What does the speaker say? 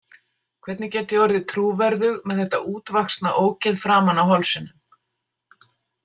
Hvernig get ég orðið trúverðug með þetta útvaxna ógeð framan á hálsinum?